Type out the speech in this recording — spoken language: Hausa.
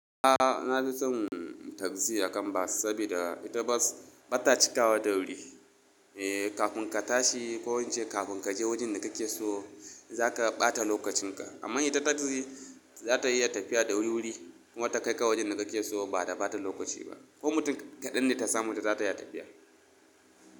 A'a na fi son taxi akan bas saboda ita bas ba ta cika wa da wuri. Eh kafin ka tashi ko ince kafin kaje wajen da kake so za ka ɓata lokacin ka. Amma ita taxi za ta iya tafiya da wuri wuri. Kuma ta kai ka wajen da kake so ba da ɓata lokaci ba. Ko mutum kaɗan ne ta samu ita za ta iya tafiya.